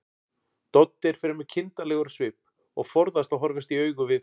Doddi er fremur kindarlegur á svip og forðast að horfast í augu við